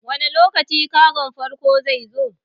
Wane lokaci kagon farko zai zo?